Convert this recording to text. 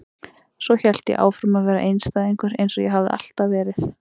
Svo hélt ég áfram að vera einstæðingur eins og ég hafði alltaf verið.